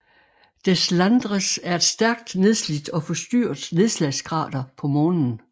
Deslandres er et stærkt nedslidt og forstyrret nedslagskrater på Månen